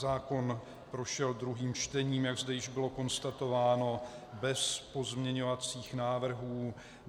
Zákon prošel druhým čtením, jak zde již bylo konstatováno, bez pozměňovacích návrhů.